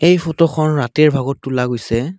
এই ফটোখন ৰাতিৰ ভাগত তোলা গৈছে।